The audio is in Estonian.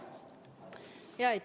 Aitäh!